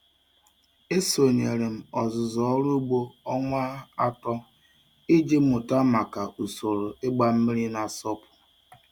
Esonyere m ọzụzụ ọrụ ugbo ọnwa atọ iji mụta maka usoro ịgba mmiri na-asọpu.